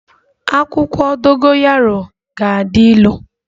Akwụkwọ dogoyaro ga-adi ịlụ